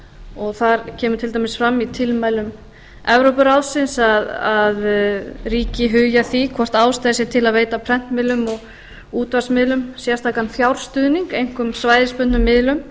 og það kemur til dæmis fram í tilmælum evrópuráðsins að ríki hugi að því hvort ástæða sé til að veita prentmiðlum og útvarpsmiðlum sérstakan fjárstuðning einkum svæðisbundnum miðlum